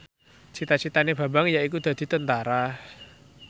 cita citane Bambang yaiku dadi Tentara